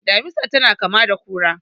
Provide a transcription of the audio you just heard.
Damisa tana kama da kura.